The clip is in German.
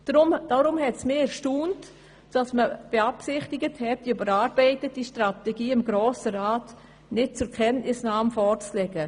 Deshalb hat mich die Absicht erstaunt, die überarbeitete Strategie dem Grossen Rat nicht zur Kenntnisnahme vorzulegen.